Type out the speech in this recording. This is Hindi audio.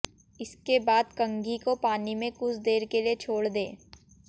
इसके बाद कंघी को पानी में कुछ देर के लिए छोड़ दें